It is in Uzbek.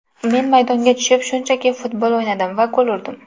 Men maydonga tushib, shunchaki futbol o‘ynadim va gol urdim”.